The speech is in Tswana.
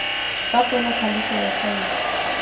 fa fela tlhaloso ya faele